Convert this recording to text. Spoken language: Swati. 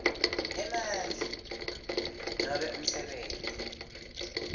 emandla nobe umsebenti